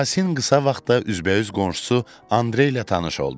Yasin qısa vaxtda üzbəüz qonşusu Andrey ilə tanış oldu.